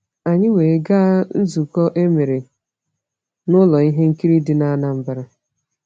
Anyị wee gaa nzụkọ emere n’ụlọ ihe nkiri dị n’Anambra.